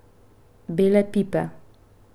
Bele pipe.